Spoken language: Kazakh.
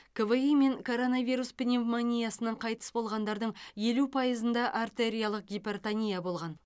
кви мен коронавирус пневмониясынан қайтыс болғандардың елу пайызында артериялық гипертония болған